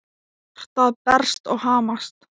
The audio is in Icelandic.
Hjartað berst og hamast.